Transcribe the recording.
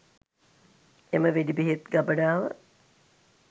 එම වෙඩි බෙහෙත් ගබඩාව